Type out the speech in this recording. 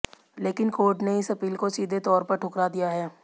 लेकिन कोर्ट ने इस अपील को सीधे तौर पर ठुकरा दिया है